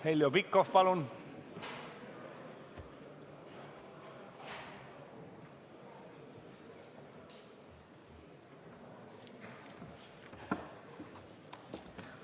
Heljo Pikhof, palun!